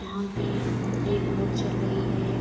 यहाँ पे एक बोट चल रही है।